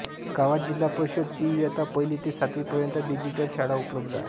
गावात जिल्हा परिषद ची इयत्ता पहिली ते सातवी पर्यंत डिजिटल शाळा उपलब्ध आहे